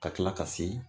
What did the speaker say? Ka kila ka se